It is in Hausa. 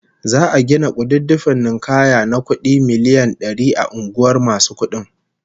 Za'a gina kududdufin ninkaya na kudi miliyan dari a unguwar masu kudin